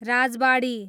राजबाडी